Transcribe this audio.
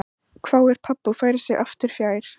hváir pabbi og færir sig aftur fjær.